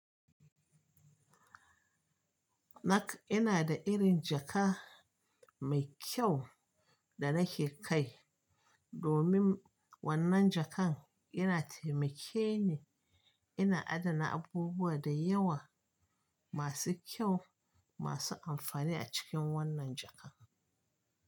Na ina da irin jaka mai kyau da na ke kai domin wannan jakan ina taimake ni ina adana abubuwa da yawa masu kyau masu amfani a cikin wannan jaka.